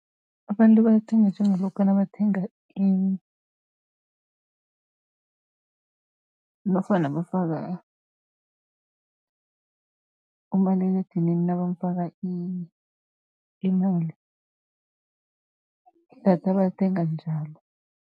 Abantu balithenga njengalokha nabathenga nofana bafaka umaliledinini nabamufaka imali. Idatha balithenga njalo.